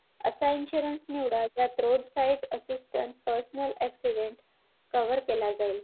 असा insurance निवडा जात road roadside assistance personal accident cover केला जाईल